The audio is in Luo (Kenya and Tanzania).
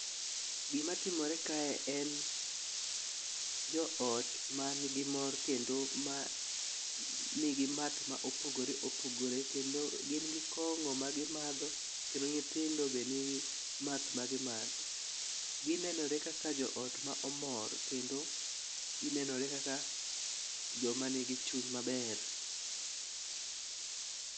Gima timore kae en, joot mangi mor kendo ma nigi math ma opogore opogore kendo gin gi kong'o ma gimadho, kendo nyithindo be nigi math ma gimatho. Gineneore kaka joot ma omor kendo ginenore kaka joma nigi chuny maber.